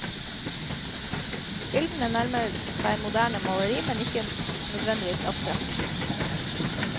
Bildene nærmer seg moderne maleri, ikke nødvendigvis abstrakt.